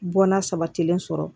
Bɔnna sabatilen sɔrɔ